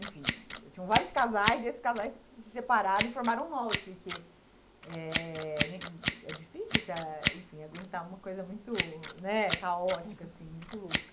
Enfim, tinham vários casais e esses casais se separaram e formaram novos, porque é né é difícil essa, enfim, aguentar uma coisa muito, né, caótica assim, muito louca.